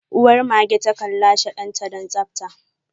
Uwar mage takan lashe danta don tsabta.